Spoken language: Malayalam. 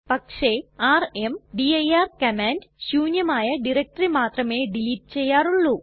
പക്ഷെ ർമ്ദിർ കമാൻഡ് ശൂന്യമായ ഡയറക്ടറി മാത്രമേ ഡിലീറ്റ് ചെയ്യാറുള്ളൂ